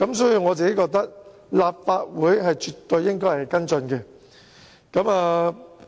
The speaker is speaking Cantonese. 所以，我認為立法會絕對應該跟進此事。